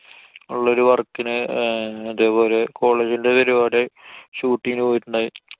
ഉള്ളൊരു work ന് അഹ് ഇതേപോലെ college ന്‍റെ പരിപാടി, shoot ന് പോയിട്ടിണ്ടായി.